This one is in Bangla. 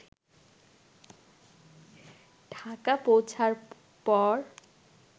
ঢাকা পৌঁছার পর